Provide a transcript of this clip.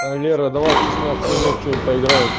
а лера давай в шестнадцать ноль ноль во что-нибудь поиграем